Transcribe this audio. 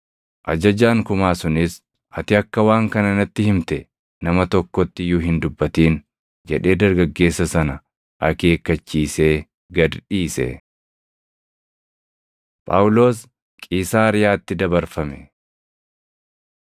Ajajaan kumaa sunis, “Ati akka waan kana natti himte nama tokkotti iyyuu hin dubbatin” jedhee dargaggeessa sana akeekkachiisee gad dhiise. Phaawulos Qiisaariyaatti Dabarfame